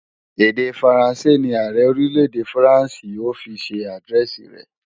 Èdè Faransé ní Ààrẹ Orílè-èdè Faransé ó fi ṣe àdírẹ́ẹ̀sì rẹ̀